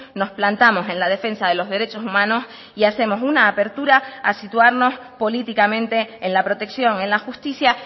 nos plantamos en la defensa de los derechos humanos y hacemos una apertura a situarnos políticamente en la protección en la justicia